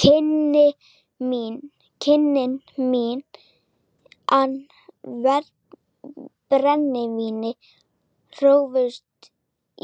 Kynni mín af brennivíni hófust